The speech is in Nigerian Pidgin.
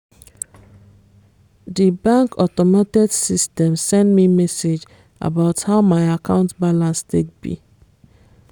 di bank automated system send me message about how my account balance take be